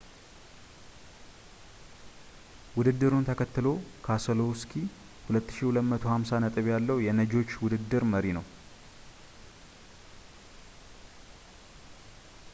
ውድድሩን ተከትሎ ፣ ካሰሎውስኪ 2,250 ነጥብ ያለው የነጂዎች ውድድር መሪ ነው